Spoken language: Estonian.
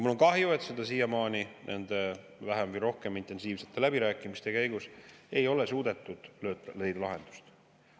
Mul on kahju, et nende vähem või rohkem intensiivsete läbirääkimiste käigus ei ole siiamaani suudetud lahendust leida.